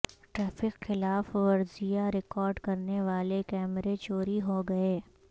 traffic خلاف ورزیاں record کرنے والے کیمرے چوری ہوگئے